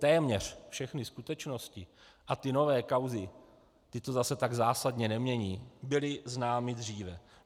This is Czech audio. Téměř všechny skutečnosti, a ty nové kauzy, ty to zase tak zásadně nemění, byly známy dříve.